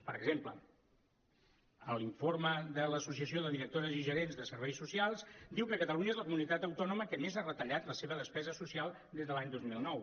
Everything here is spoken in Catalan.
per exemple en l’informe de l’associació de directores i gerents de serveis socials diu que catalunya és la comunitat autònoma que més ha retallat la seva despesa social des de l’any dos mil nou